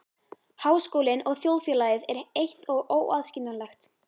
Háskólinn og þjóðfélagið er eitt og óaðskiljanlegt.